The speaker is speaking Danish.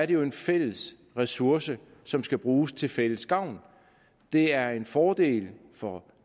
det er en fælles ressource som skal bruges til fælles gavn det er en fordel for